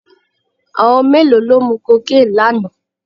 Àwọn mélòó ló mu cocaine lánàá?